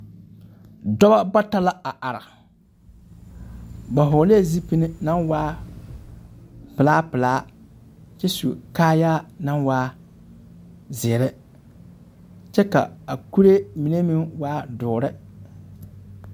Dɔba bata la a are. Ba hɔglɛɛ zipine naŋ waa pelaa pelaa kyɛ su kaayaa naŋ waa zeere, kyɛ ka a kuree meŋ waa doore.